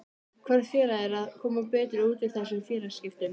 Hvort félagið er að koma betur út úr þessum félagaskiptum?